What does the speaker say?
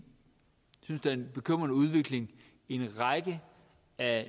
jeg synes er en bekymrende udvikling i en række af